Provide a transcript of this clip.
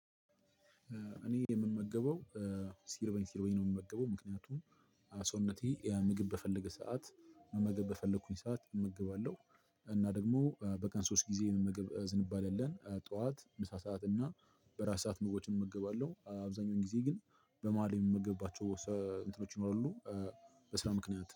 እኔ የምመገበው ሲርበኝ ሲርበኝ ነው የምመገበው ምክንያቱም ሰውነቴ ምግብ በፈለገ ሰዓት መመገብ በፈለኩኝ ሰዓት እመገባለሁ። እና ደግሞ በቀን ሶስት ጊዜ የመመገብ ዝንባሌ አለን ጠዋት ምሳ ሰዓት እና በራት ሰዓት ምግቦችን እመገባለሁ። አብዛኛውን ጊዜ ግን በመሃል የምመገባቸው እንትኖች ይኖሩ በስራ ምክንያት